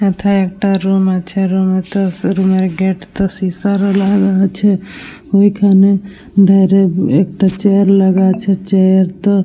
মধ্যে একটা রুম আছে রুমে তো রুমের গেট তো একটা সীসার লাগানো আছে । ওইখানে ধারে একটা চেয়ার লাগানো আছে । চেয়ার তো --